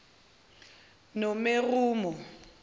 nomeromo